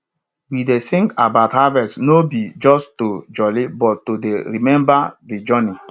we dey sing about harvest no be just to jolli but to dey remember de journey